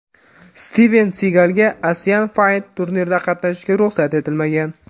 Stiven Sigalga Asian Fight turnirida qatnashishga ruxsat etilmagan.